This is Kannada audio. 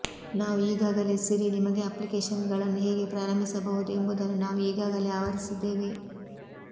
ನಾವು ಈಗಾಗಲೇ ಸಿರಿ ನಿಮಗೆ ಅಪ್ಲಿಕೇಶನ್ಗಳನ್ನು ಹೇಗೆ ಪ್ರಾರಂಭಿಸಬಹುದು ಎಂಬುದನ್ನು ನಾವು ಈಗಾಗಲೇ ಆವರಿಸಿದ್ದೇವೆ